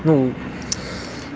ну